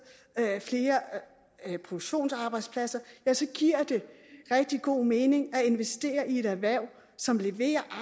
flere produktionsarbejdspladser giver det rigtig god mening at investere i et erhverv som leverer